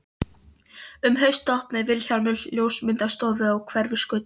Um haustið opnaði Vilhjálmur ljósmyndastofu á Hverfisgötu.